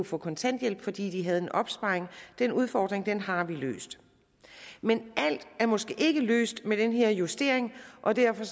få kontanthjælp fordi de har haft en opsparing den udfordring har vi løst men alt er måske ikke løst med den her justering og derfor